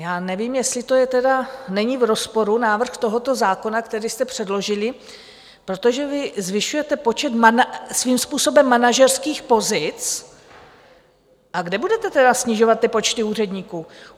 Já nevím, jestli to není v rozporu, návrh tohoto zákona, který jste předložili, protože vy zvyšujete počet svým způsobem manažerských pozic, a kde budete tedy snižovat ty počty úředníků?